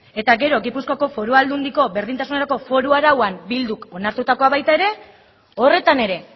eta gero gipuzkoako foru aldundiko berdintasunerako foru arauan bilduk onartutakoa baita ere horretan ere